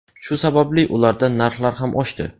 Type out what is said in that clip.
Shu sababli ularda narx ham oshdi.